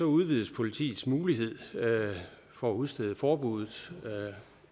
udvides politiets mulighed for at udstede forbuddet